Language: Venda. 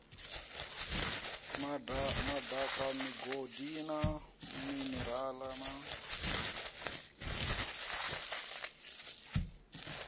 madaka migodi na minerale na